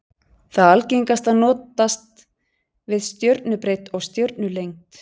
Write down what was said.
Það algengasta notast við stjörnubreidd og stjörnulengd.